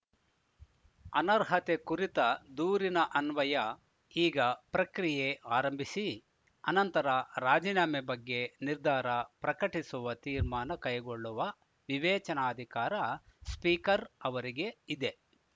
ಅನರ್ಹತೆ ಕುರಿತ ದೂರಿನ ಅನ್ವಯ ಈಗ ಪ್ರಕ್ರಿಯೆ ಆರಂಭಿಸಿ ಅನಂತರ ರಾಜೀನಾಮೆ ಬಗ್ಗೆ ನಿರ್ಧಾರ ಪ್ರಕಟಿಸುವ ತೀರ್ಮಾನ ಕೈಗೊಳ್ಳುವ ವಿವೇಚನಾಧಿಕಾರ ಸ್ಪೀಕರ್‌ ಅವರಿಗೆ ಇದೆ